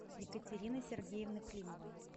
екатерины сергеевны климовой